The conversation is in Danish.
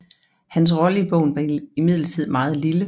Hans rolle i bogen var imidlertid meget lille